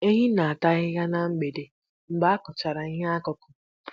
Ehi na-ata ahịhịa na mgbede mgbe a kụchara ihe ọkụkụ.